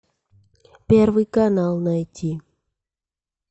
первый канал найти